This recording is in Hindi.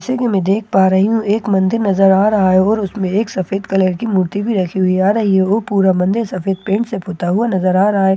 जैसा कि मैं देख पा रही हूँ एक मंदिर नजर आ रहा है और उसमें एक सफेद कलर कि मूर्ति भी रखी हुई है और यह पूरा मंदिर सफेद पेंट से पोता हुआ नज़र आ रहा है उसी--